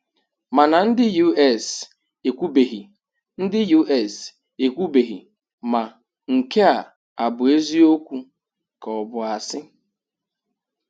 Mana ndị US ekwubeghị ndị US ekwubeghị ma nke a abụ eziokwu ka ọ bụ asị.